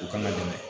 U kana dɛmɛ